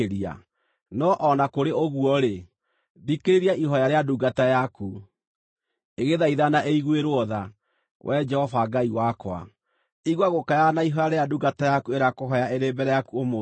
No o na kũrĩ ũguo-rĩ, thikĩrĩria ihooya rĩa ndungata yaku, ĩgĩthaithana ĩiguĩrwo tha, Wee Jehova Ngai wakwa. Igua gũkaya na ihooya rĩrĩa ndungata yaku ĩrakũhooya ĩrĩ mbere yaku ũmũthĩ.